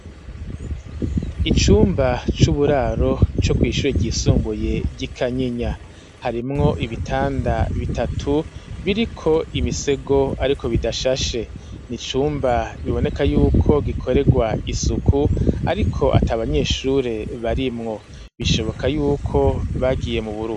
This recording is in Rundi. Icumba c'uburaro co kw'ishure ryisumbuye ry'i kanyinya harimwo ibitanda bitatu biriko imisego, ariko bidashashe ni icumba biboneka yuko gikorerwa isuku, ariko ata abanyeshure barimwo bishoboka yuko bake giye mu bura.